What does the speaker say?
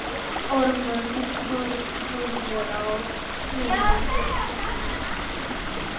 Ármann horfir á nemanda sinn.